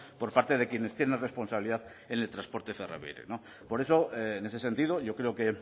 por parte de quienes tienen responsabilidad en el transporte ferroviario por eso en ese sentido yo creo que